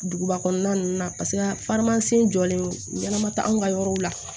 Duguba kɔnɔna ninnu na paseke jɔlen don ɲɛnɛma tɛ anw ka yɔrɔw la